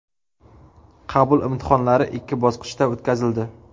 Qabul imtihonlari ikki bosqichda o‘tkazildi.